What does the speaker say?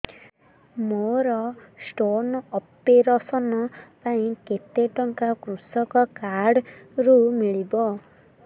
ମୋର stone operation ପାଇଁ କେତେ ଟଙ୍କା କୃଷକ କାର୍ଡ ରୁ ମିଳିବ